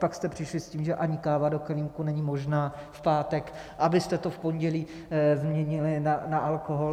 Pak jste přišli s tím, že ani káva do kelímku není možná v pátek, abyste to v pondělí změnili na alkohol.